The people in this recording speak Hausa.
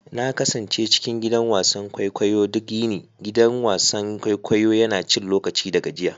Na kasance cikin gidan wasan kwaikwayo duk yini, gidan wasan kwaikwayo yana cin lokaci da gajiya.